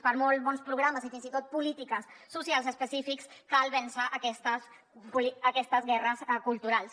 per molt bons programes i fins i tot polítiques socials específiques cal vèncer aquestes guerres culturals